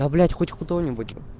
да блять хоть кто-нибудь